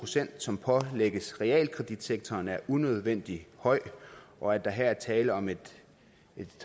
som pålægges realkreditsektoren er unødvendig høj og at der her er tale om et